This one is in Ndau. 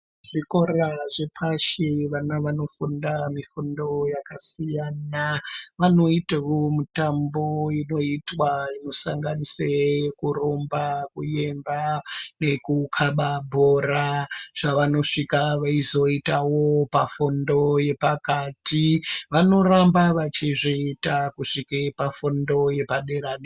Zvikora zvepashi vana vanofunda mifundo yakasiyana. Vanoitewo mutambo inoitwa inosanganise kurumba, kuemba nekukaba bhora zvavanosvika veizoitawo pafundo yepakati. Vanoramba vachizviita kusvike pafundo yepadera-de...